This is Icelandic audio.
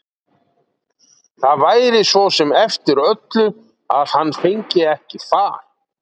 Það væri svo sem eftir öllu að hann fengi ekki far.